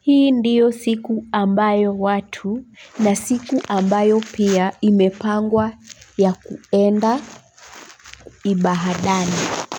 Hii ndiyo siku ambayo watu na siku ambayo pia imepangwa ya kuenda ibadani.